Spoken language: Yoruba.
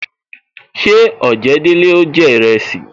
Ṣé ojedele ó jẹ iresi